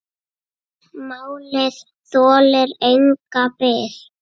Málið þolir enga bið.